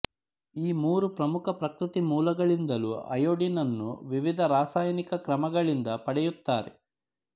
ಈ ಮೂರು ಪ್ರಮುಖ ಪ್ರಕೃತಿಮೂಲಗಳಿಂದಲೂ ಅಯೊಡೀನನ್ನು ವಿವಿಧ ರಾಸಾಯನಿಕ ಕ್ರಮಗಳಿಂದ ಪಡೆಯುತ್ತಾರೆ